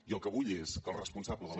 i el que vull és que el responsable de la